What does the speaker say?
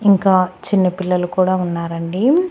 ఇంకా చిన్న పిల్లలు కూడా ఉన్నారండి.